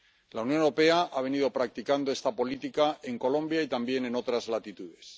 La Unión Europea ha venido practicando esta política en Colombia y también en otras latitudes.